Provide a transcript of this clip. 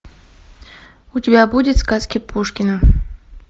у тебя будет сказки пушкина